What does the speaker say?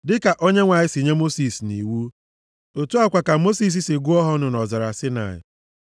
dịka Onyenwe anyị si nye Mosis nʼiwu. Otu a kwa ka Mosis si gụọ ha ọnụ nʼọzara Saịnaị.